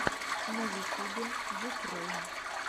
на ютюбе юфрэйм